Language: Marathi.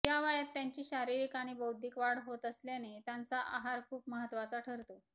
या वयात त्यांची शारीरिक आणि बौद्धिक वाढ होत असल्याने त्यांचा आहार खूप महत्त्वाचा ठरतो